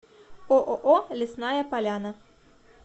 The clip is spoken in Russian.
ооо лесная поляна